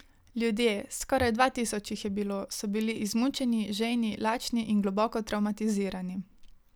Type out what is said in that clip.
Ljudje, skoraj dva tisoč jih je bilo, so bili izmučeni, žejni, lačni in globoko travmatizirani.